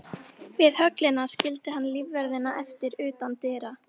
Við höllina skildi hann lífverðina eftir utan dyra.